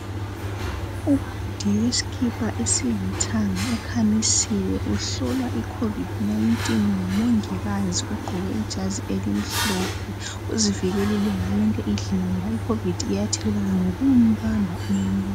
Ubhudi wesikipa esilithanga ukhamisile, uhlolwa icovid 19, ngumongikazi ogqoke ibhatshi elimhlophe, uzivikelekile ngoba icovid 19 iyathelelwana ngokubamba umuntu.